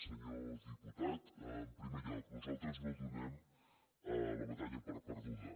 senyor diputat en primer lloc nosaltres no donem la batalla per perduda